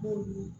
Ɛɛ